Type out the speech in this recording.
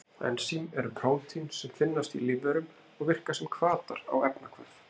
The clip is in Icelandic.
Ensím eru prótín sem finnast í lífverum og virka sem hvatar á efnahvörf.